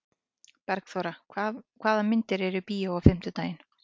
Bergþóra, hvaða myndir eru í bíó á fimmtudaginn?